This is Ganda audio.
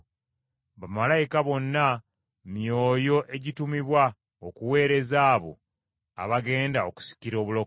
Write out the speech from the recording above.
Bamalayika bonna, myoyo egitumibwa okuweereza abo abagenda okusikira obulokozi.